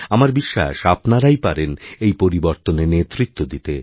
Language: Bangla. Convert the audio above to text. আমার বিশ্বাস আপনারাই পারেন এই পরিবর্তনে নেতৃত্ব দিতে